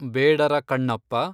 Bedara Kannappa